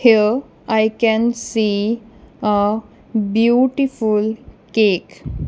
here i can see a beautiful cake.